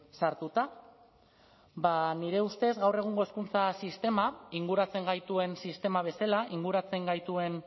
sartuta ba nire ustez gaur egungo hezkuntza sistema inguratzen gaituen sistema bezala inguratzen gaituen